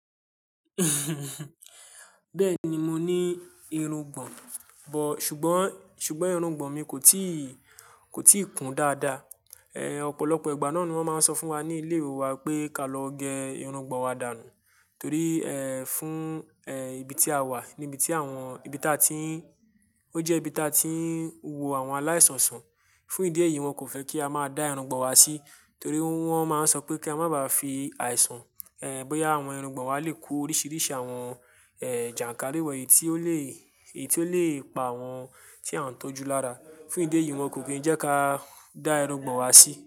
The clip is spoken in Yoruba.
Bẹ́ẹ̀ni, mo ní irùngbọ̀n, bọ̀-- ṣùgbọ́n, ṣùgbọ́n irùngbọ̀n mi kò tíì, kò tíì kún dáadáa. Ẹ̀, ọ̀pọ̀lọpọ̀ ìgbà náà ni wón máa ń sọ fún wa ní ilé ìwé wa pé ka lọ gẹ irùngbọ̀n wa dànù. Torí, ẹ́, fún, ẹ́, ibi tí a wà, ní ibi tí àwọn-- ibi tí a ti ń-- ó jẹ́ ibi tí a ti ń wo àwọn aláìsàn sàn. Fún ìdí èyí, wọn kò fẹ́ kí a máa dá irùngbọ̀n wa sí, torí wọ́n máa ń sọ pé kí a má bàá fi àìsàn, ẹ́, bóyá àwọn irùngbọ̀n wa lè kó oríṣiríṣi àwọn, ẹ́, jànkárìwọ̀ èyí tí ó lè, èyí tí ó lè pa àwọn tí a ń tọ́jú lára. Fún ìdí èyí, wọn kò kí ń jẹ́ ká dá irùngbọ̀n wa sí.